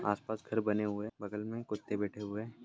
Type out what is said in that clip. आसपास घर बने हुए है बगल मे कुत्ते बैठे हुए है।